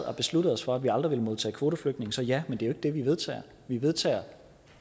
og besluttede os for at vi aldrig ville modtage kvoteflygtninge så ja men det er jo ikke det vi vedtager vi vedtager